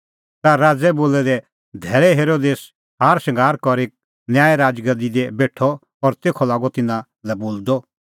ता राज़ै बोलै दै धैल़ै हेरोदेस हारशंगार करी करै न्याय राज़गादी दी बेठअ और तेखअ लागअ तिन्नां लै बोलदअ